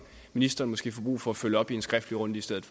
ministeren måske får brug for at følge op i en skriftlig runde i stedet